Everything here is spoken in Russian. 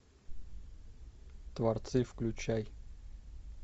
творцы включай